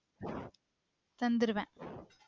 தந்துருவ